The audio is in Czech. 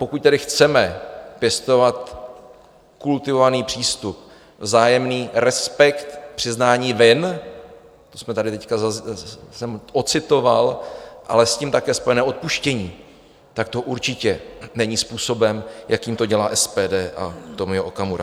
Pokud tedy chceme pěstovat kultivovaný přístup, vzájemný respekt, přiznání vin, to jsem tady teď ocitoval, ale s tím také spojené odpuštění, tak to určitě není způsobem, jakým to dělá SPD a Tomio Okamura.